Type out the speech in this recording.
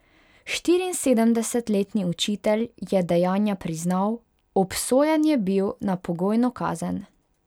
Štiriinsedemdesetletni učitelj je dejanja priznal, obsojen je bil na pogojno kazen.